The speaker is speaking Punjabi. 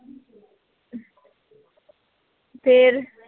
ਫੇਰ